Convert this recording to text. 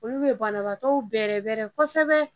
Olu bɛ banabaatɔw bɛrɛbɛrɛ kosɛbɛ